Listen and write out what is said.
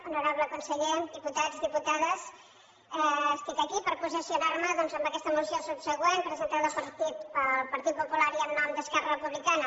honorable conseller diputats diputades estic aquí per posicionar me doncs en aquesta moció subsegüent presentada pel partit popular i en nom d’esquerra republicana